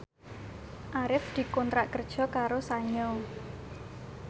Arif dikontrak kerja karo Sanyo